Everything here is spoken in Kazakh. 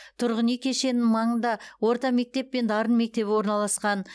тұрғын үй кешенінің маңында орта мектеп пен дарын мектебі орналасқан